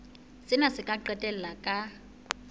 sena se ka qetella ka